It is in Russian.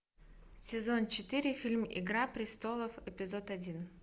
сезон четыре фильм игра престолов эпизод один